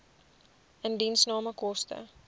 indiensname koste